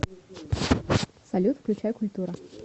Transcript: салют включай культура